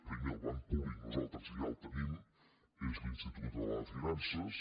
primer el banc públic nosaltres ja el tenim és l’institut català de finances